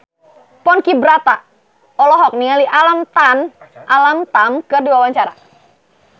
Ponky Brata olohok ningali Alam Tam keur diwawancara